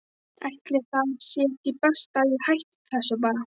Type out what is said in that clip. Ætli það sé ekki best að ég hætti þessu bara.